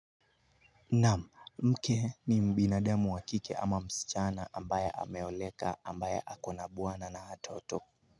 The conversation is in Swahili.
Naam mke ni mbinadamu wa kike ama msichana ambaye ameoleka ambaye akona bwana na watoto.